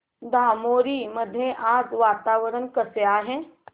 धामोरी मध्ये आज वातावरण कसे आहे